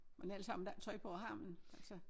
Men ellers har man da ikke tøj på har man altså?